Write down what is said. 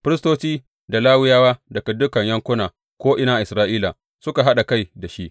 Firistoci da Lawiyawa daga dukan yankuna ko’ina a Isra’ila suka haɗa kai da shi.